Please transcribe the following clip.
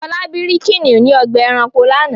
Fọlábí rí kìnnìún ní ọgbà-ẹranko lánàá.